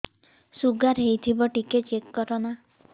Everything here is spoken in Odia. ଶୁଗାର ହେଇଥିବ ଟିକେ ଚେକ କର ନା